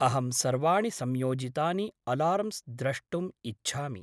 अहं सर्वाणि संयोजितानि अलार्म्स् द्रष्टुम् इच्छामि।